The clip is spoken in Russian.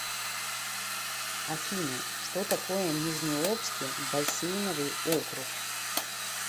афина что такое нижнеобский бассейновый округ